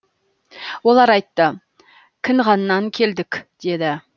олар айтты кінғаннан келдік деді